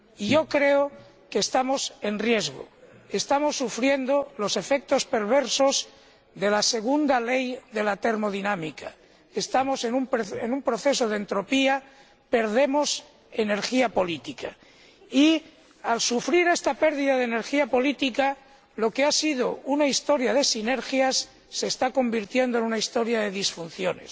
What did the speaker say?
Yo creo que estamos en riesgo, estamos sufriendo los efectos perversos de la segunda ley de la termodinámica, estamos en un proceso de entropía, perdemos energía política y, al sufrir esta pérdida de energía política, lo que ha sido una historia de sinergias se está convirtiendo en una historia de disfunciones.